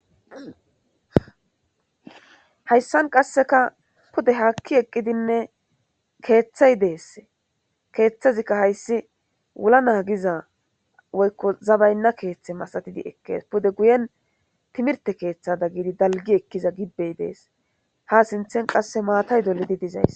Hayssan qaseka puude haaki eqqidine keththay dessi keththazika hayssi wula nagiza woykko zabayna keththe masatidi eqqides pude guyen timirte keththa gidi dalggi ekkiza gibey dessi hs sinththan qasse maatay dollidi dessi.